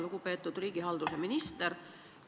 Lugupeetud riigihalduse minister!